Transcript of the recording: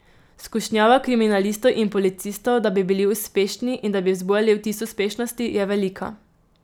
Skušnjava kriminalistov in policistov, da bi bili uspešni in da bi vzbujali vtis uspešnosti, je velika.